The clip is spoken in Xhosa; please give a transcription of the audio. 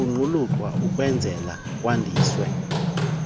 kuqulunqwa ukukwenzela kwandiswe